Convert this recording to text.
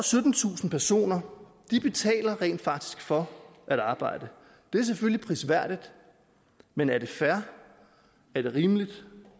syttentusind personer betaler rent faktisk for at arbejde det er selvfølgelig prisværdigt men er det fair er det rimeligt